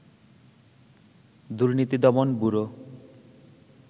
দুর্নীতি দমন ব্যুরো